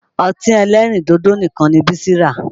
Ọtí ẹlẹ́rìndòdò nìkan ni Bísí rà